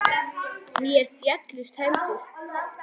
Mér féllust hendur.